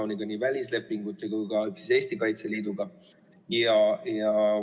Pean silmas nii välislepinguid kui ka lepinguid Eesti Kaitseliiduga.